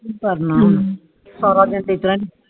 ਸਾਰਾ ਦਿਨ ਕਰਨਾ